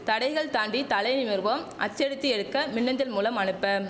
தடைகள் தாண்டி தலை நிமிர்வோம் அச்சடித்து எடுக்க மின் அஞ்சல் மூலம் அனுப்ப